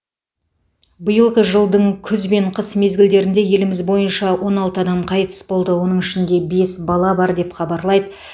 биылғы жылдың күз бен қыс мезгілдерінде еліміз бойынша он алты адам қайтыс болды оның ішінде бес бала бар деп хабарлайды